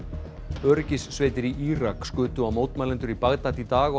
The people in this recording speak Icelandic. öryggissveitir í Írak skutu á mótmælendur í Bagdad í dag og